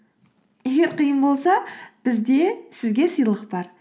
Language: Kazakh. егер қиын болса бізде сізге сыйлық бар